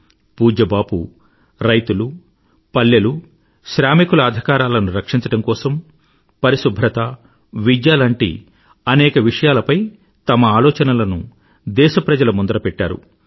పూజ్య బాపూ రైతులు పల్లెలు శ్రామికుల అధికారాలను రక్షించడం కోసం పరిశుభ్రత విద్య లాంటి అనేక విషయాలపై తన ఆలోచనలను దేశప్రజల ముందర పెట్టారు